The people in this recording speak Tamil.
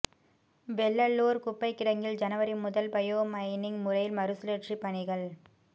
வெள்ளலூா் குப்பைக் கிடங்கில் ஜனவரி முதல் பயோமைனிங் முறையில் மறுசுழற்சிப் பணிகள்